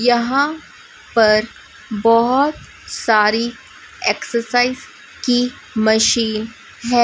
यहां पर बहोत सारी एक्सरसाइज की मशीन है।